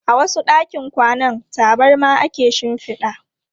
A wasu ɗakin kwanan, tabarma ake shinfida.